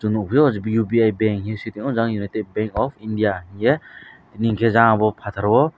nugfio ubi bank he sia tio jaga united bank of India unke goro unkempt fataro.